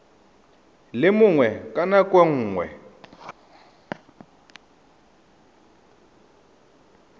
le mongwe ka nako nngwe